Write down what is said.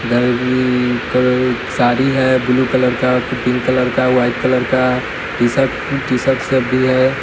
इधर अ क साड़ी है ब्लू कलर का पिंक कलर का व्हाईट कलर का टी-शर्ट टी-शर्ट सब भी है।